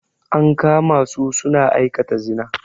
An kama su suna aikata zina.